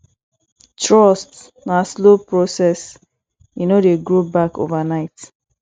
trust na slow process e no dey grow back overnight